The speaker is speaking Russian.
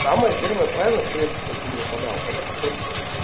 самое первое правило прежде чем ты его подал это попробовать